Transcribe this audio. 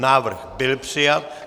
Návrh byl přijat.